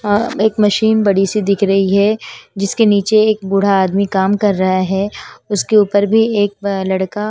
अ एक मशीन बड़ी सी दिख रही है जिसके नीचे एक बूढ़ा आदमी कम कर रहा है उसके ऊपर भी एक लड़का--